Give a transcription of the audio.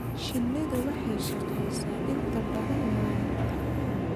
Shinnidu waxay shaqeysaa inta badan maalinta.